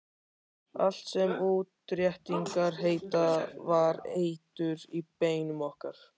Allt sem útréttingar heita var eitur í beinum okkar.